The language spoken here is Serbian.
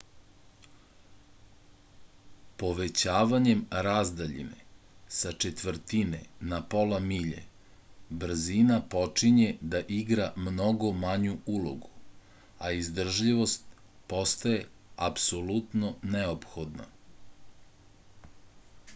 povećavanjem razdaljine sa četvrtine na pola milje brzina počinje da igra mnogo manju ulogu a izdržljivost postaje apsolutno neophodna